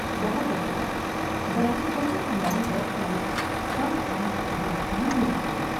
بہت اچھا براہ کرم ہماری website fun art dot com visit کریں